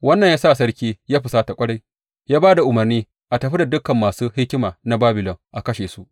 Wannan ya sa sarki ya fusata ƙwarai, ya ba da umarni a tafi da dukan masu hikima na Babilon a kashe su.